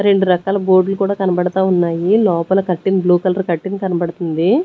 రెండు రకాల బోర్డ్ లు కూడా కనబడతా ఉన్నాయి లోపల కర్టన్ బ్లూ కలర్ కర్టన్ కనబడుతుంది.